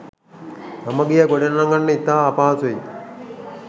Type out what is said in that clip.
සමගිය ගොඩනගන්න ඉතා අපහසුයි.